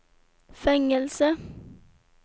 fängelse